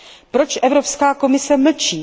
Proč Evropská komise mlčí?